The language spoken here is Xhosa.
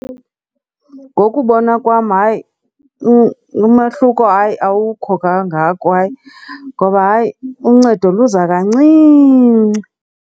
Ngokubona kwam, hayi umahluko hayi, awukho kangako. Hayi. Ngoba, hayi, uncedo luza kancinci.